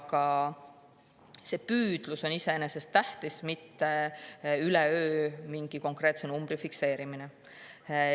Tähtis on see püüdlus, mitte üleöö mingi konkreetse numbri fikseerimine.